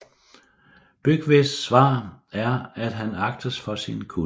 Byggves svar er at han agtes for sin kunnen